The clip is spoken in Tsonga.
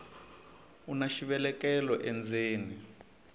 una xivelekelo endzeni